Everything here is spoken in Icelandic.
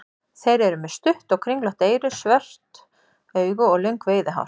Þeir eru með stutt og kringlótt eyru, stór svört augu og löng veiðihár.